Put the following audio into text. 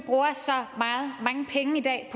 i dag